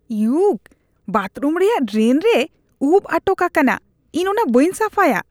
ᱤᱭᱚᱠ! Bathroom ᱨᱮᱭᱟᱜ drain ᱨᱮ ᱩᱯ ᱟᱴᱚᱠ ᱟᱠᱟᱱᱼᱟ ᱾ ᱤᱧ ᱚᱱᱟ ᱵᱟᱹᱧ ᱥᱟᱯᱷᱟᱭᱟ ᱾